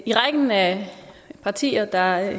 i rækken af partier der